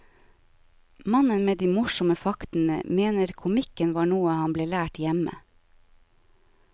Mannen med de morsomme faktene mener komikken var noe han ble lært hjemme.